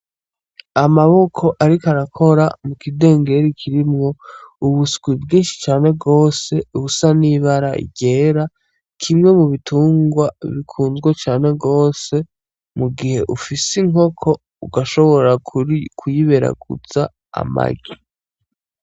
Amaboko ariko arakora mukidengeri kirimwo ubuswi bwinshi cane gose busa n’ibara ryera . Kimwe mu bitungwa bikunzwe cane gose mu gihe ufise inkoko ugashobora kuyiberaguza amagi.